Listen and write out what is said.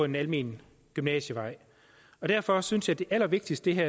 den almene gymnasievej derfor synes jeg det allervigtigste i det